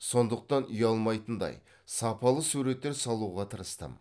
сондықтан ұялмайтындай сапалы суреттер салуға тырыстым